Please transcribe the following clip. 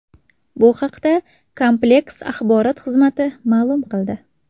Bu haqda kompleks axborot xizmati ma’lum qildi .